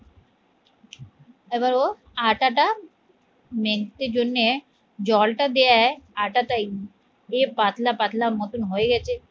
এবার ও আটাট মাখতে জন্যে জলটা দেয় আটা তাই দিয়ে পাতলা পাতলা মতন হয়ে গেছে